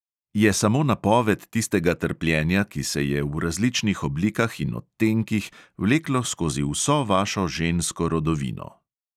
Je samo napoved tistega trpljenja, ki se je v različnih oblikah in odtenkih vleklo skozi vso vašo žensko rodovino.